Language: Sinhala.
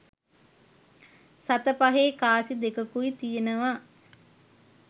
සත පගේ කාසි දෙකකුයි තියෙනවා